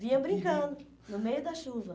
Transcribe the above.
Vinha brincando no meio da chuva.